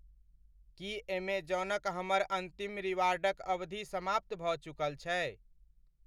की एमेजौनक हमर अन्तिम रिवार्डक अवधि समाप्त भऽ चुकल छै?